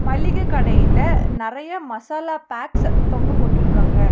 மல்லிகெ கடையிலெ நெறைய மசாலா பாக்ஸ் தொங்க போட்ருக்காங்க.